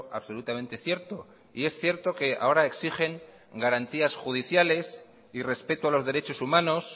absolutamente cierto y es cierto que ahora exigen garantías judiciales y respeto a los derechos humanos